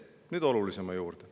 Nüüd olulisema juurde.